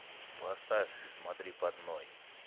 поставь смотри под ноги